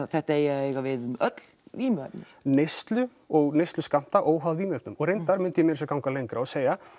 þetta eigi að eiga við um öll vímuefni neyslu og neysluskammta óháð vímuefnum reyndar myndi ég meira að segja ganga lengra og segja